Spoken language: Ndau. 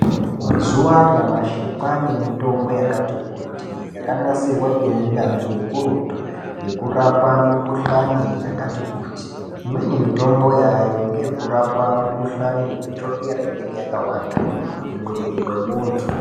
Mazuwa anyamashi kwane mitombo yakati kuti yakanasirwa ngeunyanzvi hukurutu yekurapa mikuhlani yakati kuti. Imweni mitombo yaayo ngeyekurapa mikuhlani wechokera inenge yakawanda mumwiri mwemuntu.